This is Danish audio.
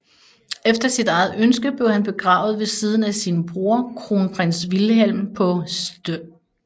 Efter sit eget ønske blev han begravet ved siden af sin bror Kronprins Wilhelm på St